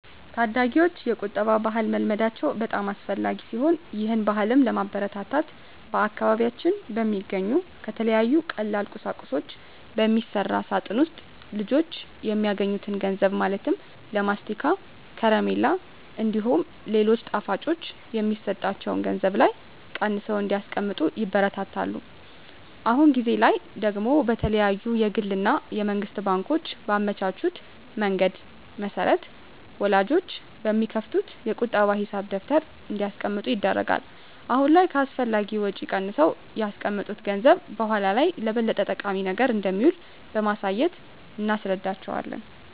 ታዳጊወች የቁጠባ ባህልን መልመዳቸው በጣም አስፈላጊ ሲሆን ይህን ባህልም ለማበረታታት በአካባቢያችን በሚገኙ ከተለያዩ ቀላል ቁሳቁሶች በሚሰራ ሳጥን ውስጥ ልጆች የሚያገኙትን ገንዘብ ማለትም ለማስቲካ፣ ከረሜላ እንዲሁም ሌሎች ጣፋጮች የሚሰጣቸው ገንዘብ ላይ ቀንሰው እንዲያስቀምጡ ይበረታታሉ። አሁን ጊዜ ላይ ደግሞ የተለያዩ የግል እና የመንግስት ባንኮች ባመቻቹት መንገድ መሰረት ወላጆች በሚከፍቱት የቁጠባ ሂሳብ ደብተር እንዲያስቀምጡ ይደረጋል። አሁን ላይ ከአላስፈላጊ ወጪ ቀንሰው ያስቀመጡት ገንዘብ በኃላ ላይ ለበለጠ ጠቃሚ ነገር እንደሚውል በማሳየት እናስረዳቸዋለን።